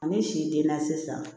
Ni si den na sisan